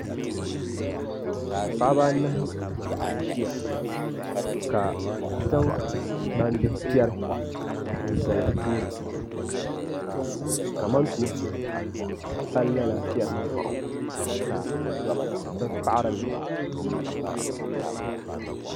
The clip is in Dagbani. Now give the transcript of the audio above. paɣiba anahi n-ʒia ka zaŋ gbambihi piɛri n-zali bɛ tooni ka kamantoonsi pali li lala piɛri maa ka bɛ paɣiri li